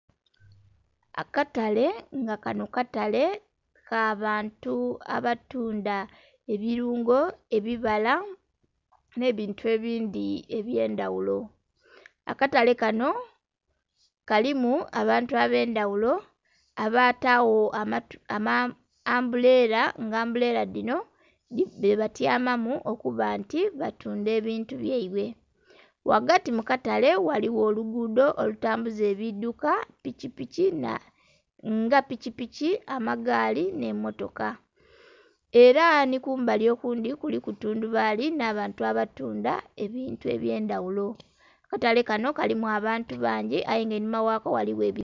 Akatale nga kanho katale kabantu abatunda ebilungo ebibala nh'ebintu ebindhi ebyendaghulo. Akatale kanho kalimu abantu abendhaghulo abatagho amambulela nga ambulela dhinho dhebatyamamu okuba nti batundha ebintu byeibwe, ghagati mukatale ghaligho olugudho olutambuza ebidhuka piki piki. Nga piki piki amagaali nhemmotoka era nhikumbali okundhi kuliku tundhubali nh'abantu abatunda ebintu ebyendaghulo akatale kanho kalimu abantu bangi aye enhuma ghako ghaligho ebi....